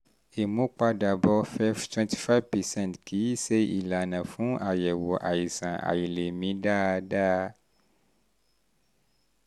ìmúpadàbọ̀ fef twenty five percent kì í ṣe ìlànà fún àyẹ̀wò àìsàn àìlèmí dáadáa